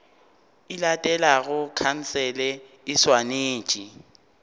e latelago khansele e swanetše